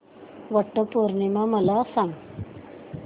वट पौर्णिमा मला सांग